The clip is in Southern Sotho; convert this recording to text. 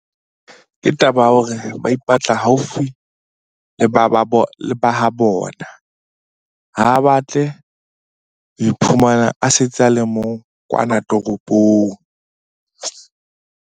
Ke taba ya hore ba ipatla haufi le ba habona. Ha batle ho iphumana a setse a le mong kwana toropong.